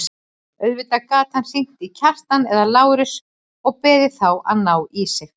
Auðvitað gat hann hringt í Kjartan eða Lárus og beðið þá að ná í sig.